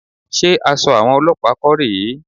Ṣé aṣọ àwọn olọ́pàá kọ́ rè é?